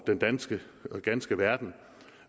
danske ganske verden